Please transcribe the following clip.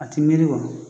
A ti miiri wa